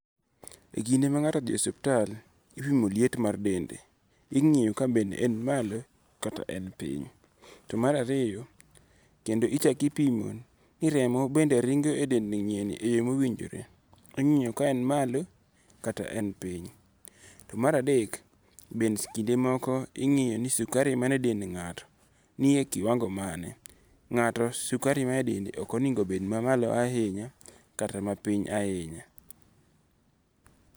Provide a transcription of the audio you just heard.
E kinde ma nga'to othie ospital, ipimo liet mar dende, ingi'yo ka be en malo kata en piny. To mararinyo kendo ichako ipimo ni remo bende ringo' e dend nyieni e yo mowinjore ingi'yo ka be en malo kata en piny. To maradek be kinde moko be ingi'yo ni sukari manie dend nga'to nie kiwango mane? nga'to sukari manie dende okonigo bed mamalo ahinya kata mapiny ahinya.